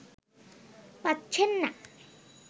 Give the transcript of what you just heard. পাচ্ছেন না